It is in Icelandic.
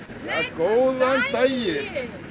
góðan daginn